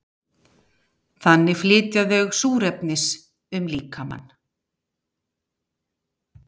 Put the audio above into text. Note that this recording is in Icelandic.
Þannig flytja þau súrefnis um líkamann.